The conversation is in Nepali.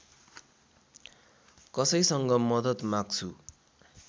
कसैसँग मद्दत माग्छु